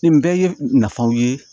Nin bɛɛ ye nafaw ye